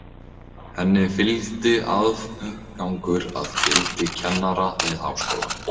Henni fylgdi aðgangur að gildi kennara við háskólann.